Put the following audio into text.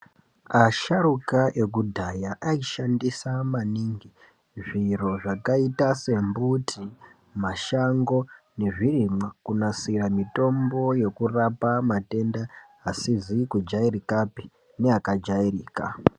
Asharuka eku dhaya aishandisa maningi zviro zvakaita se mbuti mashango nezvi rimwa kunasira mitombo yokurapa matenda asizi kujairikapi ne aka jairika.